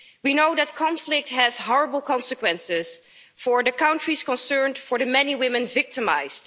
We know that conflict has horrible consequences for the countries concerned, for the many women victimised.